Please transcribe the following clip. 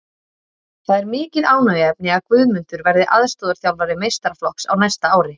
Það er mikið ánægjuefni að Guðmundur verði aðstoðarþjálfari meistaraflokks á næsta ári.